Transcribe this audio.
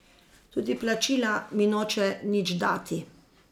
Tudi plačila mi noče nič dati.